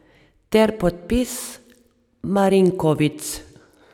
Ter podpis Marinković.